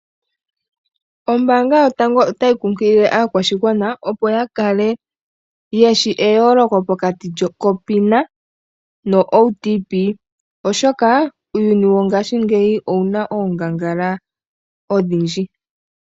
Ombaanga yotango otayi kunkilile aakwashigwana opo yakale yeshi eyooloko pokati kopina no OTP, oshoka uuyuni wongashi ngeyi owuna oongangala odhindji.